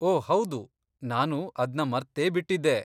ಓ ಹೌದು, ನಾನು ಅದ್ನ ಮರ್ತೇ ಬಿಟ್ಟಿದ್ದೆ.